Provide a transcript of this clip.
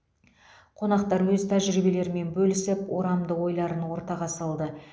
қонақтар өз тәжірибелерімен бөлісіп орамды ойларын ортаға салды